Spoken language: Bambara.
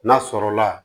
N'a sɔrɔla